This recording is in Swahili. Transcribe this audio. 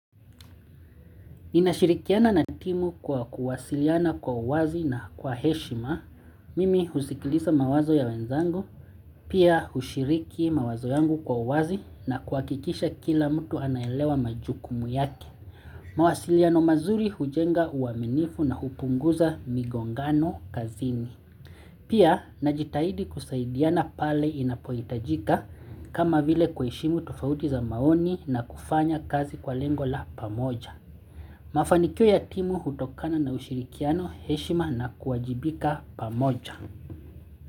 Inashirikiana na timu kwa kuwasiliana kwa uwazi na kwa heshima, mimi husikiliza mawazo ya wenzangu, pia hushiriki mawazo yangu kwa uwazi na kuhakikisha kila mtu anaelewa majukumu yake. Mawasiliano mazuri hujenga uaminifu na hupunguza migongano kazini. Pia najitahidi kusaidiana pale inapohitajika kama vile kuheshimu tufauti za maoni na kufanya kazi kwa lengo la pamoja. Mafanikio ya timu hutokana na ushirikiano heshima na kuwajibika pamoja.